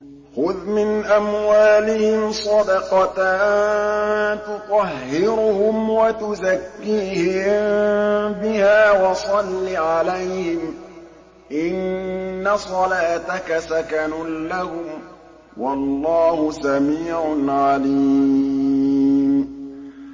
خُذْ مِنْ أَمْوَالِهِمْ صَدَقَةً تُطَهِّرُهُمْ وَتُزَكِّيهِم بِهَا وَصَلِّ عَلَيْهِمْ ۖ إِنَّ صَلَاتَكَ سَكَنٌ لَّهُمْ ۗ وَاللَّهُ سَمِيعٌ عَلِيمٌ